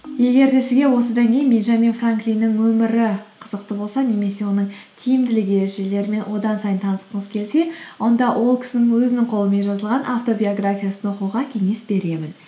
егер де сізге осыдан кейін бенджамин франклинның өмірі қызықты болса немесе оның тиімділік ережелерімен одан сайын танысқыңыз келсе онда ол кісінің өзінің қолымен жазылған автобиографиясын оқуға кеңес беремін